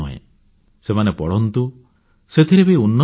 ସେମାନେ ପଢ଼ନ୍ତୁ ସେଥିରେ ବି ଉନ୍ନତି କରନ୍ତୁ